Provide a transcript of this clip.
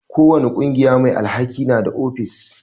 Ko wani ƙungiya mai alhaki na da ofis.